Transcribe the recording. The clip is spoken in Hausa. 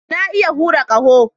Na iya hura ƙaho